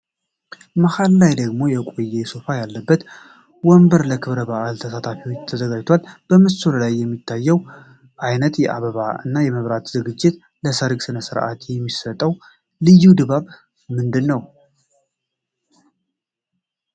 መሀል ላይ ደግሞ የቆዳ ሶፋ ያለው ወንበር ለክብረ በዓሉ ተሳታፊዎች ተዘጋጅቷል። በምስሉ ላይ የሚታየው ዓይነት የአበባ እና የመብራት ዝግጅት ለሠርግ ስነ-ስርዓት የሚሰጠው ልዩ ድባብ ምንድነው?